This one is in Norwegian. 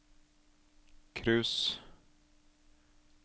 cruise